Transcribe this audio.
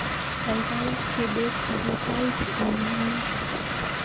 Kaikai chebet ibu tait eng ngony